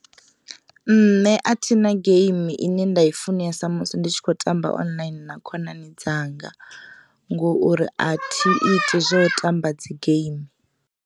Nṋe a thi na geimi ine nda i funesa musi ndi tshi kho tamba online na khonani dzanga ngo uri a thi iti zwo u tamba dzi geimi.